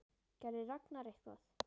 Gerði Ragnar eitthvað?